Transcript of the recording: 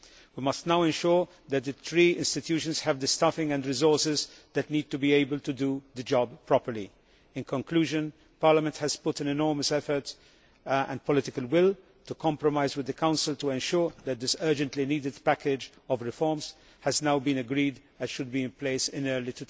We must now ensure that the three institutions have the staffing and resources they need to be able to do the job properly. In conclusion, Parliament has put enormous effort and political will into a compromise with the Council to ensure that this urgently needed package of reforms has now been agreed and should be in place in early